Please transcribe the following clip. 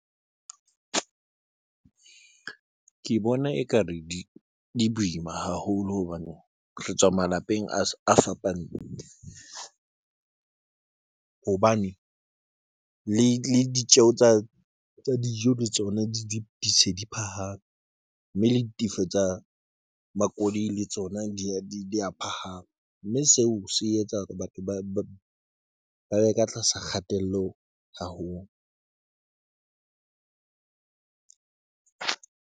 Ke bona ekare di boima haholo hobane re tswa malapeng a fapaneng hobane le le ditjeho tsa dijo le tsona di se di phahame, mme le ditefo tsa makoloi le tsona di ya phahama, mme seo se etsa hore batho ba be ka tlasa kgatello haholo.